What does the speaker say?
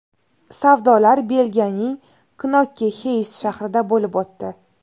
Savdolar Belgiyaning Knokke-Xeyst shahrida bo‘lib o‘tdi.